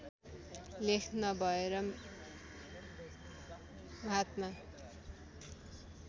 लेख नभएर महात्मा